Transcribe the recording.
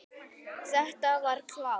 Þetta var klárt.